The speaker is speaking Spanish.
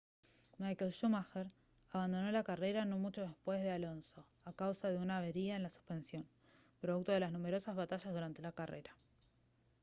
michael schumacher abandonó la carrera no mucho después de alonso a causa de una avería en la suspensión producto de las numerosas batallas durante la carrera